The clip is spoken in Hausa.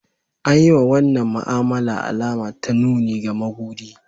An yi wa wannan ma'amala alama ta nuni ga maguɗi.